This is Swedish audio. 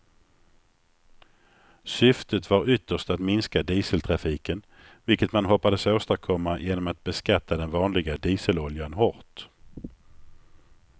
Syftet var ytterst att minska dieseltrafiken, vilket man hoppades åstadkomma genom att beskatta den vanliga dieseloljan hårt.